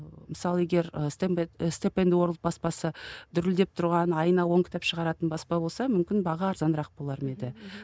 мысалы егер і степ енд орлд баспасы дүрілдеп тұрған айына оң кітап шығаратын баспа болса мүмкін баға арзанырақ болар ма еді